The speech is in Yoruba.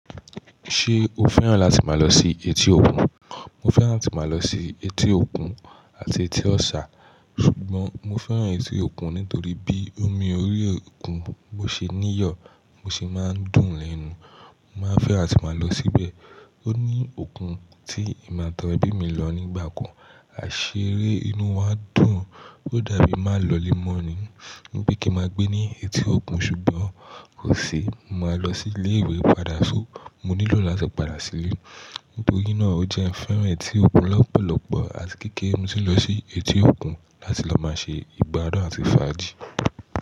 Se o féràn lati maa lo si etí òkun? Mo féràn lati maa lo si etí òkun ati etó òòsà sùgbón mọ féràn ẹtí òkun nítorí bi omi orí òkun bó se níyò, bó se maa dùn l'enu. Mo maa féràn àti maa lo síbè. Óní òkun ti èmi àti àwon ebí lo nigba kan a seré, inú wa dùn o dà bi i maa l'olé mo ni wí pé ki maa gbe ni etí òkun sùgbón kòsí mo maa lo si ilé ìwé padà, so mo ní lati padà lo si ile nitori na o je n féràn etí òkun lopolopo. Àti kékeré ni mo tí n lo sí etí òkun. Lati lo maa se ìgbádùn àti faaji.